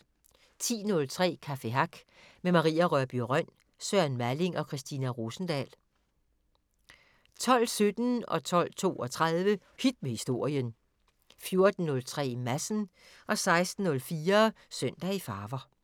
10:03: Café Hack med Maria Rørbye Rønn, Søren Malling & Christina Rosendahl 12:17: Hit med Historien 12:32: Hit med Historien 14:03: Madsen 16:04: Søndag i farver